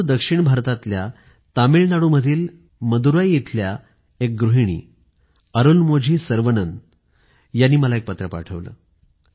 दूर दक्षिण भारतातल्या तामिळ नाडू मधील मदुराई इथल्या एक गृहिणी अरुलमोझी सर्वनन यांनी मला एक पत्र पाठवलं